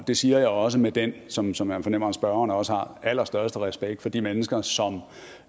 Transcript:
det siger jeg også med den som som jeg fornemmer at spørgeren også har allerstørste respekt for de mennesker som